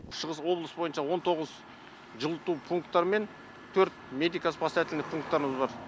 шығыс облыс бойынша он тоғыз жылыту пунктар мен төрт медико спасательный пункттарымыз бар